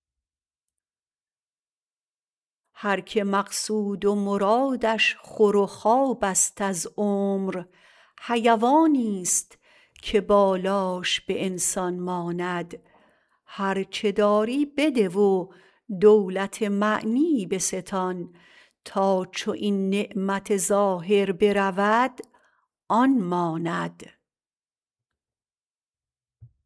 هرکه مقصود و مرادش خور و خواب ست از عمر حیوانی ست که بالاش به انسان ماند هرچه داری بده و دولت معنی بستان تا چو این نعمت ظاهر برود آن ماند